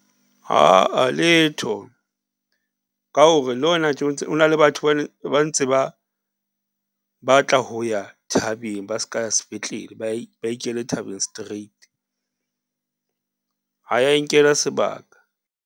Aa letho, ka hore le hona tje ntse o na le batho ba ntse ba batla ho ya thabeng ba s'ka ya sepetlele, ba ikela thabeng straight. Ha ya e nkela sebaka.